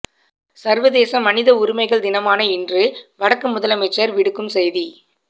சர்வதேச மனித உரிமைகள் தினமான இன்று வடக்கு முதலமைச்சர் விடுக்கும் செய்தி